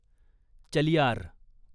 Chaliyar